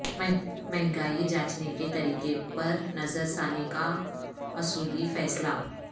مہنگائی جانچنے کے طریقہ پر نظر ثانی کا اصولی فیصلہ